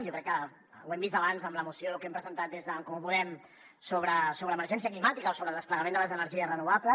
jo crec que ho hem vist abans amb la moció que hem presentat des d’en comú podem sobre emergència climàtica o sobre el desplegament de les energies renovables